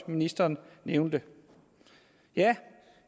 ministeren nævnte ja